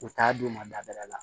U t'a d'u ma dabila